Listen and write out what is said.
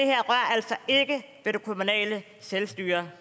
kommunale selvstyre